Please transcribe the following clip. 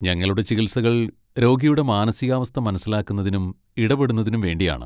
ഞങ്ങളുടെ ചികിത്സകൾ രോഗിയുടെ മാനസികാവസ്ഥ മനസ്സിലാക്കുന്നതിനും ഇടപെടുന്നതിനും വേണ്ടിയാണ്.